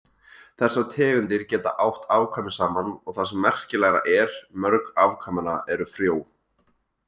Þessar tegundir geta átt afkvæmi saman og það sem merkilegra er, mörg afkvæmanna eru frjó.